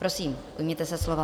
Prosím, ujměte se slova.